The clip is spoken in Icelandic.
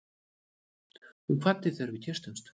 Hún kvaddi þegar við kysstumst.